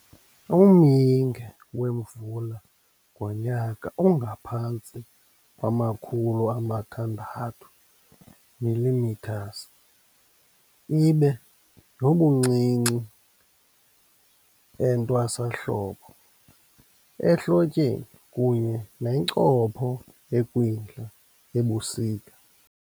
Umyinge wemvula ngonyaka ungaphantsi kwama-600 mm, ibe nobuncinci entwasahlobo - ehlotyeni kunye nencopho ekwindla-ebusika.